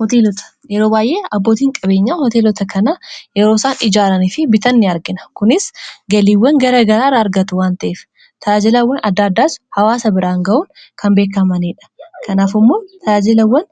hooteelota yeroo baayyee abbootiin qabeenyaa hoteelota kana yeroosaan ijaaranii fi bitan ni argina. kunis galiiwwan gara garaa irraa argatu wanta'ef. taaajilawwan adda addaas hawaasa biraan ga'uun kan beekkamaniidha. kanaafimmoo talaajilawwan